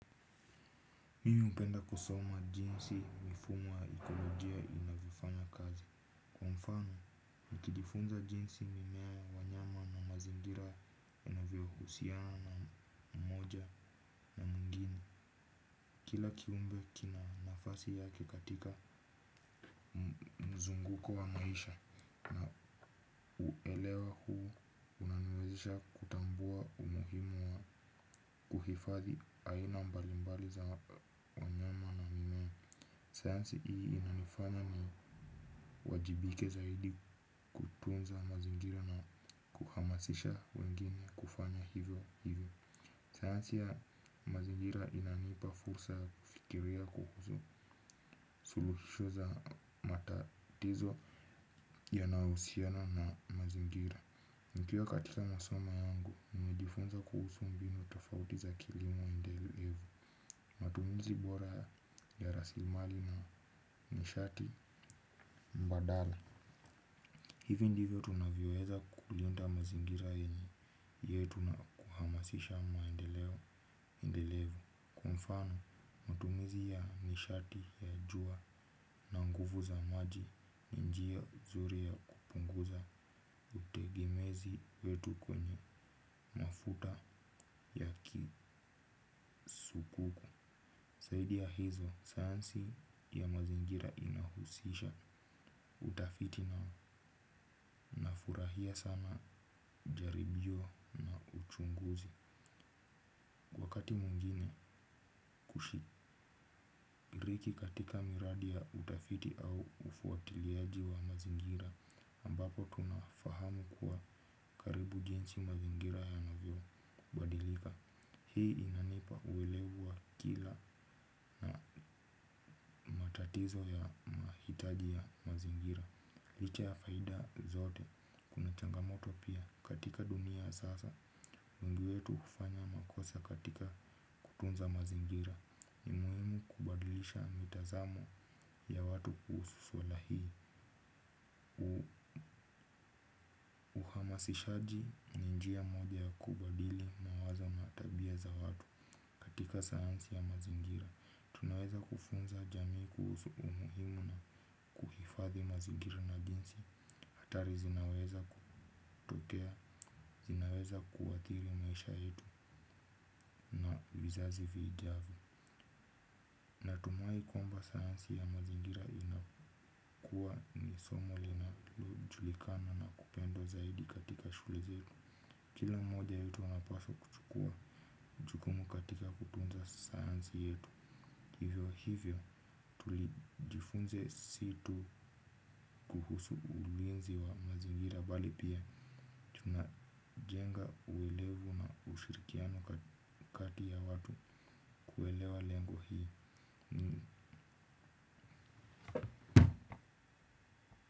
Mimi hupenda kusoma jinsi mifumo ya ekolojia inavyofanya kazi. Kwa mfano, nikijifunza jinsi mimea wanyama na mazingira yanavyohusiana mmoja na mwingine. Kila kiumbe kina nafasi yake katika mzunguko wa maisha. Uelewa huu unaniwezisha kutambua umuhimu wa kuhifadhi aina mbalimbali za wanyama na mimea sayansi ii inanifanya niwajibike zaidi. Tunza mazingira na kuhamasisha wengine kufanya hivyo hivyo. Sayansi ya mazingira inanipa fursa kufikiria kuhusu suluhisho za matatizo yanayohusiana na mazingira. Nikiwa katika masomo yangu, nimejifunza kuhusu mbinu tofauti za kilimo endelevu. Matumizi bora ya rasilimali na nishati mbadala. Hivi ndivyo tunavyoweza kulinda mazingira yenye yetu na kuhamasisha maendeleo endelevu. Kwa mfano matumizi ya nishati ya jua na nguvu za maji ni njia nzuri ya kupunguza utegemezi wetu kwenye mafuta ya kisukuku saidi ya hizo sayansi ya mazingira inahusisha utafiti na furahia sana jaribio na uchunguzi. Miradi ya utafiti au ufuatiliaji wa mazingira ambapo tunafahamu kuwa karibu jinsi mazingira yanavyobadilika hii matatizo ya mahitaji ya mazingira licha ya faida ya zote kuna changamoto pia katika dunia ya sasa wengi wetu hufanya makosa katika kutunza mazingira ni muhimu kubadilisha mitazamo ya watu kuhusu suala hii uhamasishaji ni njia moja ya kubadili mawazo na tabia za watu katika sayansi ya mazingira tunaweza kufunza jamii kuhusu umuhimu na uhifadhi mazingira na jinsi hatari zinaweza kutokea zinaweza kuathiri maisha yetu na vizazi vijavyo kwamba sayansi ya mazingira inakuwa ni somo linalojulikana na kupendwa zaidi katika shule zetu kila mmoja wetu anapaswa kuchukua jukumu katika kutunza sayansi yetu hivyo hivyo tulijifunze si tu kuhusu ulinzi wa mazingira bali pia tunajenga uelevu na ushirikiano kati ya watu kuelewa lengo hii.